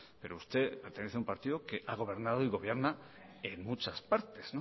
pero usted pertenece a un partido que ha gobernado y gobierna en muchas partes